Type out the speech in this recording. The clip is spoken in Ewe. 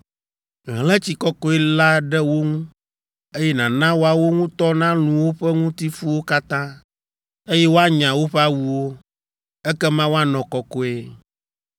Hlẽ tsi kɔkɔe la ɖe wo ŋu, eye nàna woawo ŋutɔ nalũ woƒe ŋutifuwo katã, eye woanya woƒe awuwo, ekema woanɔ kɔkɔe.